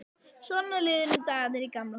Svona liðu nú dagarnir í Gamla húsinu.